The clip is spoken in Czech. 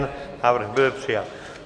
Návrh byl přijat.